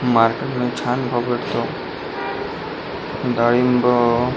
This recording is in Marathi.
मार्केटमध्ये छान भाव भेटतो डाळिंब --